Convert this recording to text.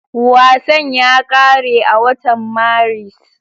Wasan ya ƙare a watan Maris